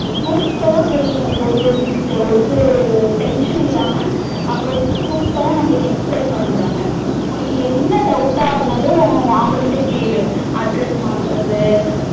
Super ரா சொல்லி ஒரு ஒரு ஒரு tension இல்லாம அவ்ளோ super ரா நம்மளுக்கு explain பண்றாங்க உனக்கு என்ன doubt டா இருந்தாலும் அவங்க கிட்ட கேளு address மாத்துறது